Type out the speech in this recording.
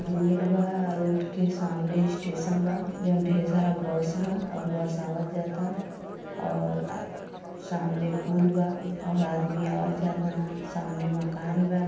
Road बा road के सामने स्टेशन बा जों ढेर सारा बस बा और बोस आवत जाता और अ सामने पुल बा अ ओर आदमी आवत जाता ना सामने मकान बा।